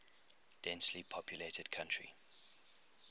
densely populated country